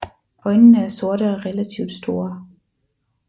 Øjnene er sorte og relativt store